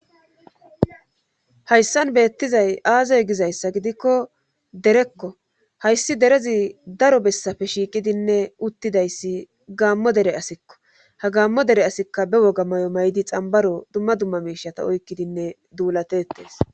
hayssan beettizay aazey gizayssa gidikko derekko hayssi derezi daro bessafe shiiqidinne uttidayssi gaammo dere asikko ha gaammo dere asikka be woga mayo maydi xambaro dumma dumma miishata oykkidinne duulatetees